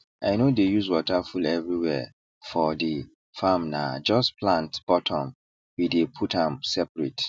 i no dey use water full everywhere for the farmna just plant bottom we dey put am seperate